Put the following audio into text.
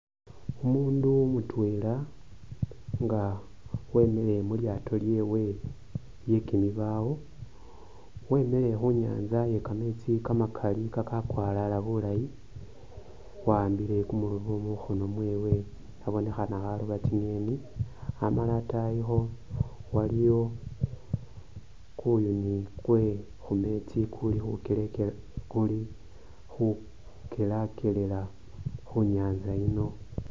Umundu mutwela nga wemile mulyato lyewe lyekimibawo wemile khunyantsa iye kametsi kamakali kakakwalala bulayi waambile kumurobo mukhkno mwewe abonekhanakharoba tsinyeni amala atayikho waliwo kuyuni kwe’khumesti kuli khukelekela kuli khukelakelela khu nyantsa yino.